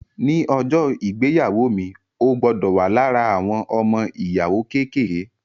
Ní ọjọ́ ìgbéyàwó mi, o gbọdọ̀ wà lára àwọn ọmọ-ìyàwó kékèké